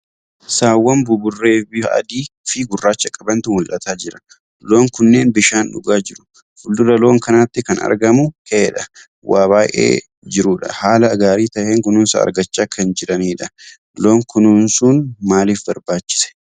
Saawwan buburree bifa adii fi gurraacha qabantu mulataa jira. Loon kunneen bishaan dhugaa jiru. Fuuldura loon kanaatti kan argamu keedhaa waa baay'ee jiruudha. Haala gaarii taheen kunuunsa argachaa kan jiraniidha. Loon kunuunsuun maaliif barbaachise?